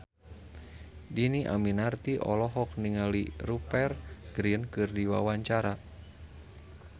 Dhini Aminarti olohok ningali Rupert Grin keur diwawancara